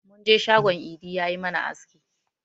Mun je shagon idi ya yi mana aski.